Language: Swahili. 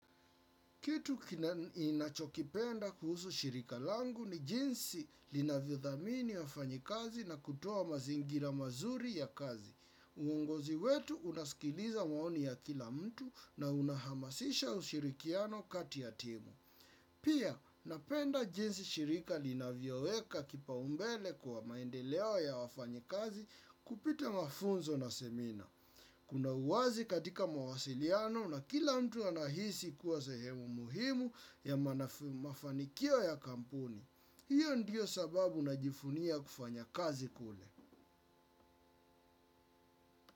Kitu ninachokipenda kuhusu shirika langu ni jinsi linavyo dhamini wafanyikazi na kutoa mazingira mazuri ya kazi. Uongozi wetu unasikiliza maoni ya kila mtu na unahamasisha ushirikiano kati ya timu. Pia, napenda jinsi shirika linavyoweka kipaumbele kwa maendeleo ya wafanyikazi kupita mafunzo na semina. Kuna uwazi katika mawasiliano na kila mtu anahisi kuwa sehemu muhimu ya mafanikio ya kampuni. Hiyo ndio sababu najivunia kufanya kazi kule.